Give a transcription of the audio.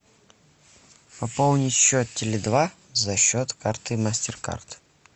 пополнить счет теле два за счет карты мастер кард